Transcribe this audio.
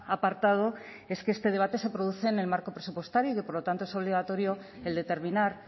apartado es que este debate se produce en el marco presupuestario y que por lo tanto es obligatorio el determinar